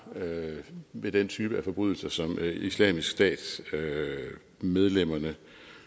ved den type af forbrydelser som islamisk stat medlemmerne